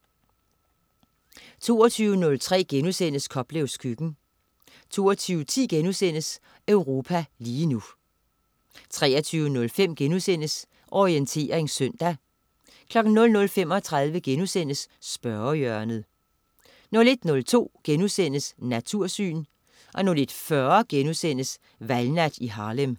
22.03 Koplevs køkken* 22.10 Europa lige nu* 23.05 Orientering søndag* 00.35 Spørgehjørnet* 01.02 Natursyn* 01.40 Valgnat i Harlem*